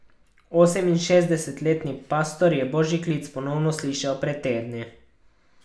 Oseminšestdesetletni pastor je božji klic ponovno slišal pred tedni.